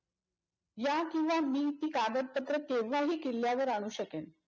ह्या किंवा मिलची कागदपत्र केव्हाही किल्ल्यावर आणूशकेन.